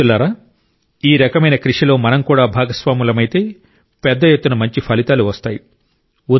మిత్రులారా ఈ రకమైన కృషిలో మనం కూడా భాగస్వాములమైతే పెద్ద ఎత్తున మంచి ఫలితాలు వస్తాయి